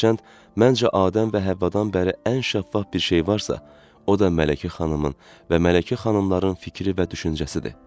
Hərçənd məncə Adəm və Həvvadan bəri ən şəffaf bir şey varsa, o da Mələkə xanımın və Mələkə xanımların fikri və düşüncəsidir.